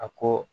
A ko